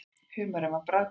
Humarinn var bragðgóður.